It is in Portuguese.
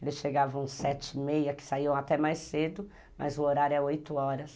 Eles chegavam sete e meia, que saíam até mais cedo, mas o horário é oito horas